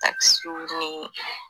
Takisiw ni